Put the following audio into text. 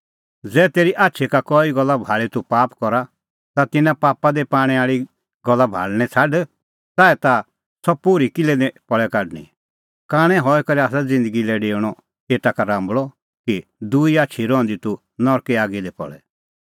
ज़ै तेरी आछी का कई गल्ला भाल़ी तूह पाप करा ता तिन्नां पापा दी पाणै आल़ी गल्ला भाल़णैं छ़ाड च़ाऐ ताह सह पोर्ही किल्है निं पल़े काढणीं कांणै हई करै आसा ज़िन्दगी लै डेऊणअ एता का राम्बल़अ कि दूई आछी रहंदी तूह नरके आगी दी पल़े